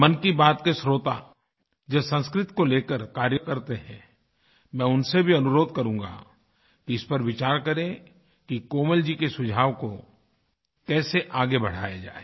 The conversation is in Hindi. मन की बात के श्रोता जो संस्कृत को लेकर कार्यकरते हैं मैं उनसे भी अनुरोध करूंगा कि इस पर विचार करें कि कोमल जी के सुझाव को कैसे आगे बढ़ाया जाए